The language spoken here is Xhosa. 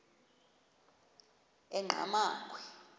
enqgamakhwe